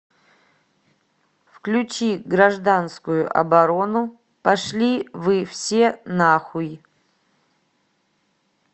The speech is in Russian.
включи гражданскую оборону пошли вы все на хуй